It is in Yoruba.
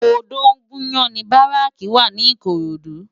Odogunyan ni báráki wá ni Ikorodu